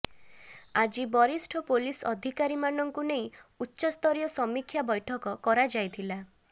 ଆଜି ବରିଷ୍ଠ ପୋଲିସ ଅଧିକାରୀମାନଙ୍କୁ ନେଇ ଉଚ୍ଚସ୍ତରୀୟ ସମୀକ୍ଷା ବୈଠକ କରାଯାଇଥିଲା